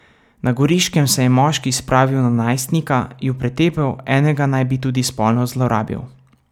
Na Goriškem se je moški spravil na najstnika, ju pretepel, enega naj bi tudi spolno zlorabil.